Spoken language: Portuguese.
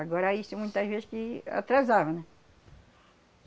Agora, isso muitas vezes que atrasava, né?